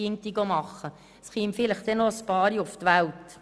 Einige kämen vielleicht auf die Welt.